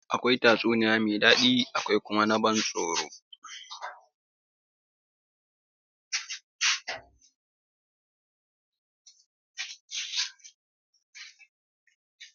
Akwai tatsuniya mai daɗi akwai kuma na ban tsoro.